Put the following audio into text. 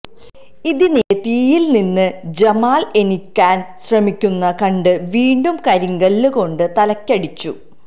ഇതിനിടെ തീയിൽ നിന്ന് ജമാൽ എണീക്കാൻ ശ്രമിക്കുന്നത് കണ്ട് വീണ്ടും കരിങ്കല്ല് കൊണ്ട് തലയ്ക്കടിച്ചു